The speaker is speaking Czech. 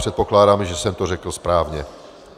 Předpokládám, že jsem to řekl správně.